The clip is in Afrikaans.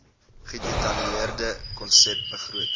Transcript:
gedetailleerde konsep begroting